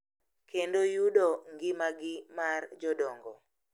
kendo yudo ngimagi mar jodongo.